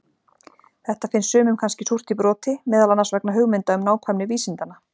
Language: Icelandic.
Þetta finns sumum kannski súrt í broti, meðal annars vegna hugmynda um nákvæmni vísindanna.